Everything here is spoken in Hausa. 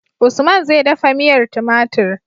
Usman zai dafa miyar tumatir